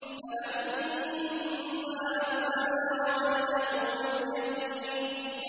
فَلَمَّا أَسْلَمَا وَتَلَّهُ لِلْجَبِينِ